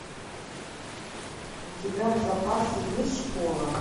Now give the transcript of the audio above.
у тебя в запасе есть школа